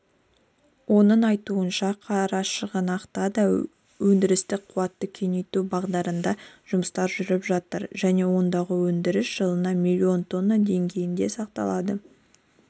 оның айтуынша қарашығанақта да өндірістік қуатты кеңейту бағытында жұмыстар жүріп жатыр және ондағы өндіріс жылына миллион тонна деңгейінде сақталады